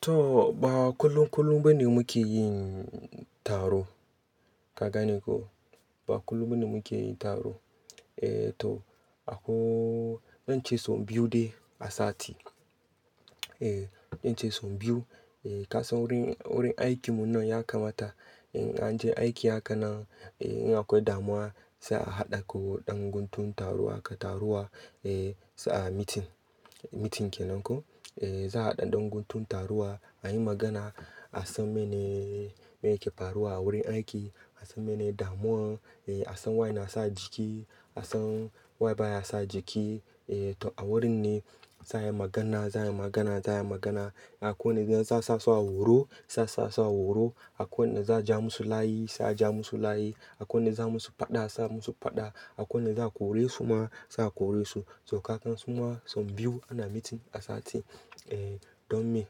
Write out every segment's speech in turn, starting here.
Toh, ba kullum kullum ba ne muke yin taro. Ka gane ko? Ba kullum ba ne muke yin taro. Eh to, akwai, zan ce sau biyu dai a sati, Eh, zan ce sau biyu. Eh, ka san wurin, wurin aikinmu nan ya kamata, in an je aiki haka nan, eh, in akwai damuwa sa a haɗa ko ɗan guntun taro haka taruwa. Eh, sa a mitin, mitin ke nan ko? Eh, za a haɗa ɗan guntun taruwa, a yi magana, a san mene, mene yake faruwa a wurin aiki, a san mene damuwan, eh, a san waye na sa jiki, a san waye baya sa jiki. Eh to, a wurin ne za'a yi magana, za'a yi magana, za'a yi magana. Akwai wanda za sa sawa horo, sa sawa horo. Akwai wanda za ja musu layi, sa ja musu layi. Akwai wanda za musu faɗa, sa musu faɗa. Akwai wanda za kore su ma, sa kore su. To kagan suma sau biyu ana mitin a sati, eh, don me?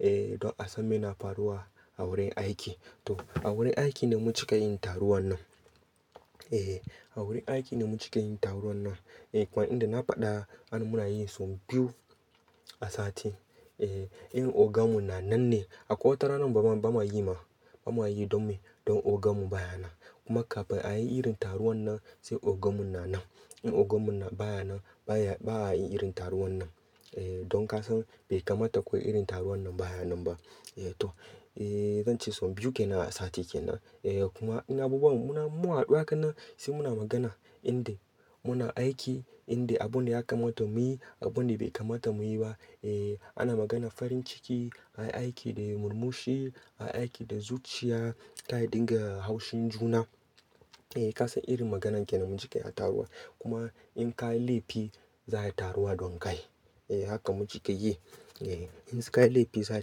Eh, don a san meye na faruwa a wurin aiki. To a wurin aiki ne mun cika yin taruwan nan. Eh, a wurin aiki ne muke cikin yin taruwan nan. Eh, kuma inda na faɗa ana muna yi sau biyu a sati. Eh, in oganmu na nan ne, Akwai wata ranan ba ma, ba ma yi ma. Ba ma yi don me? Don oganmu baya nan. Kuma kafin a yi irin taruwan nan, sai oganmu na nan. In oganmu na baya nan, baya, ba'a yi irin taruwan nan. Eh, don ka san bai kamata ku yi irin taruwan nan baya nan ba. Eh to, eh, zan ce sau biyu ke nan a sati ke nan. Eh, kuma in abubuwan muna, mun haɗu haka nan sai muna magana, inda muna aiki, inda abun da ya kamata muyi, abun da bai kamata muyi ba. Eh, ana maganan farin ciki, ayi aiki da murmushi, ayi aiki da zuciya, ka'a dinga haushin juna, Eh, ka san irin maganan ke nan muke cika a taruwa. Kuma, in ka yi laifi, za'a yi taruwa don kai. Eh, haka mu cika yi. Eh, in su--ka yi laifi, za'a yi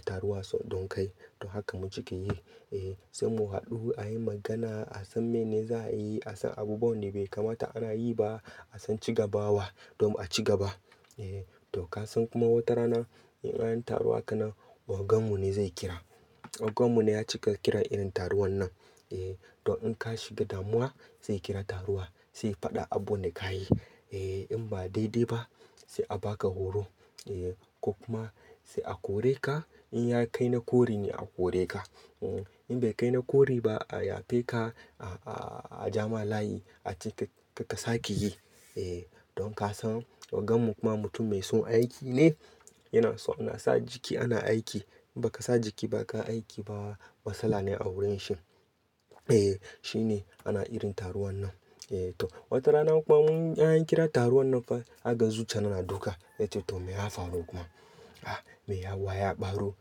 taruwa don kai. To haka mu cika yi. Eh, sai mu haɗu a yi magana, a san mene za'a yi, a san abubuwan da bai kamata ana yi ba, a san ci gaba wa, don a ci gaba. Eh, to ka san kuma wata rana, in an yi taruwa haka nan, oganmu ne zai kira. Oganmu ne ya cika kiran irin taruwan nan. Eh, to in ka shiga damuwa, zai kira taruwa, sai ya faɗa abun da ka yi. Eh, in ba daidai ba, sai a ba ka horo. Eh ko kuma sai a kore ka, In ya kai na kore ne a kore ka. In bai kai na kore ba, a yafe ka, a, a, a ja ma layi, a ce ka, ka ka sa ke yi. Eh, don ka san oganmu kuma mutum mai son aiki ne. Yana so ana sa jiki ana aiki. In ba ka sa jiki ba ka aiki ba, matsala ne a wurin shi. Eh, shi ne, ana irin taruwan nan. Eh to, wata rana kuma mun, in an kira taruwan nan fa, zaka ga zuciyana na duka. Zan ce to me ya faru kuma? Ah me ya, wa ya ɓaro.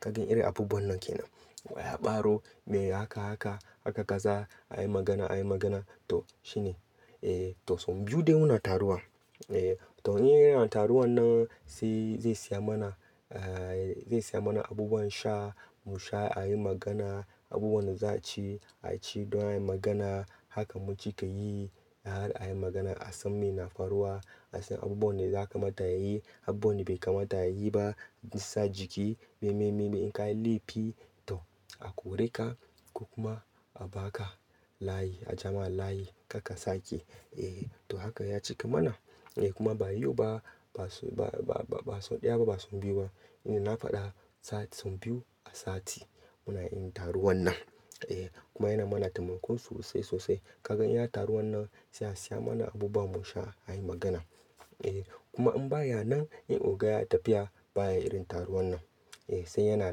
Ka gan irin abubuwan nan ke nan. Wa ya ɓaro, me haka haka, haka kaza, a yi magana, a yi magana. To shi ne. Eh to sau biyu dai muna taruwa. Eh, to in ana taruwan nan, sai zai siyan mana, eh zai siyan mana abubuwan sha, mu sha a yi magana. Abubuwan da za'a ci, a ci don a yi magana. Haka mu cika yi. Har a yi magana a san meye na faruwa, a san abubuwan da za a kamata a yi, abubuwan da bai kamata a yi ba, in sa jiki, me, me, me. In ka yi laifi to a kore ka ko kuma a ba ka layi, a ja ma layi, kar ka sa ke yi. Eh, to haka ya cika mana. Eh kuma ba yau ba, ba su, ba, ba, ba sau ɗaya ba, ba sau biyu ba. Eh, na faɗa sati-- sau biyu a sati, muna irin taruwan nan. Eh kuma yana mana taimako sosai, sosai. Ka gan in an taruwan nan, sai a saya mana abubuwa mu sha a yi magana. Eh kuma in baya nan, in oga ya tafiya, baya irin taruwan nan. Eh sai yana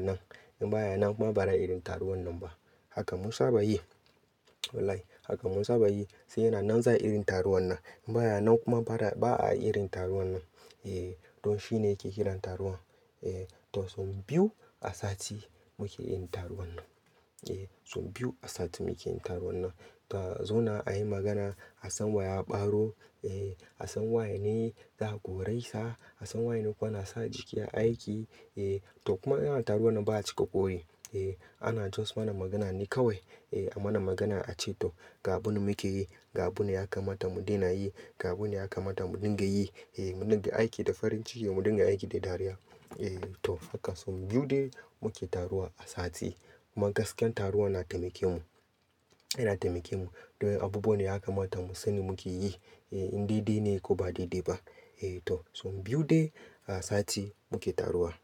nan. In baya nan kuma ba ra irin taruwan nan ba. Haka mun saba yi. Wallahi. Haka mun saba yi. Sai yana nan za irin taruwan nan. In baya nan kuma ba ra, ba'a yi irin taruwan nan. Eh, don shi ne yake kiran taruwan. Eh to sau biyu a sati muke yin taruwan nan. Eh sau biyu a sati muke yin taruwan nan. To, a zauna a yi magana, a san wa ya ɓaro. Eh, a san waye ne za'a kore sa. A san waye ne kuma na sa jiki a aiki. Eh, to kuma in ana taruwan nan ba a cika ƙori. Eh, ana just mana magana ne kawai. Eh, a mana magana a ce to ga abun muke yi, ga abun da ya kamata mu daina yi, ga abun da ya kamata mu dinga yi, Eh mu dinga aiki da farin ciki, mu dinga aiki da dariya. Eh to haka sau biyu dai muke taruwa a sati. Kuma gaskiyar taruwa na taimake mu. Yana taimake mu. Don abubuwan da ya kamata mu sani muke yi. Eh in daidai ne ko ba daidai ba. Eh to sau biyu dai a sati muke taruwa.